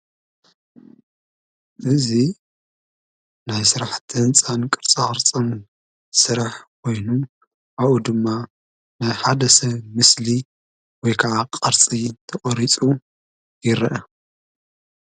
እዙይ ናይ ስራሕ ሕንፃን ቅርጻቅርፅን ስራሕ ኾይኑ ኣብኡ ድማ ናይ ሓደ ሰብ ምስሊ ወይ ከዓ ቕርፂ ተቖሪጹ ይረአ፡፡